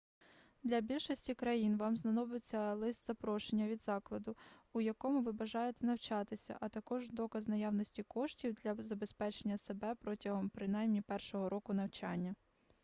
для більшості країн вам знадобиться лист-запрошення від закладу у якому ви бажаєте навчатися а також доказ наявності коштів для забезпечення себе протягом принаймні першого року навчання